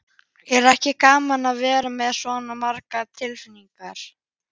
Er ekki gaman að vera með svona margar tilnefningar?